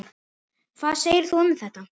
Hvað segir þú um þetta?